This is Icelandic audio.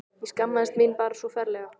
Ég skammaðist mín bara svo ferlega.